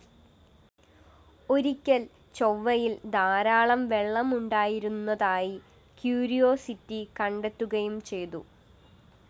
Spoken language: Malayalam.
ഒരിക്കല്‍ ചൊവ്വയില്‍ ധാരാളം വെളളമുണ്ടായിരുന്നതായി ക്യൂരിയോസിറ്റി കണ്ടെത്തുകയും ചെയ്തു